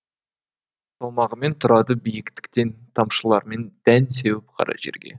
салмағымен тұрады биіктіктен тамшылармен дән сеуіп қара жерге